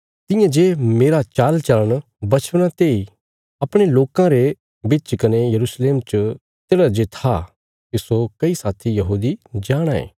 तियां जे मेरा चालचल़ण बच्छपना तेई अपणे लोकां रे बिच कने यरूशलेम च तेढ़ा जे था तिस्सो कई साथी यहूदी जाणाँ ये